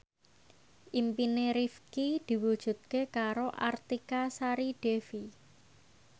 impine Rifqi diwujudke karo Artika Sari Devi